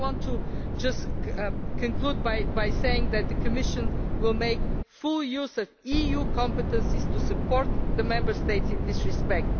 I want to conclude by saying that the Commission will make full use of EU competences to support the Member States in this respect.